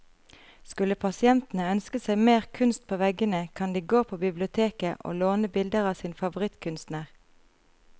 Skulle pasientene ønske seg mer kunst på veggene, kan de gå på biblioteket å låne bilder av sin favorittkunstner.